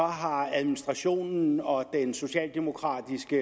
har administrationen og den socialdemokratiske